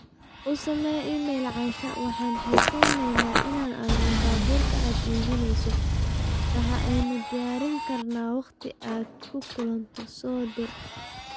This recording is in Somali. u samee iimayl asha, waxaan xiisaynayaa in aan arko baabuurka aad iibinayso, waxa aanu diyaarin karnaa wakhti aad ku kulanto, soo dir